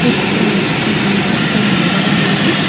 ఈ చిత్రంలో కొంతమంది వ్యక్తులు నిలబడి ఉన్నారు.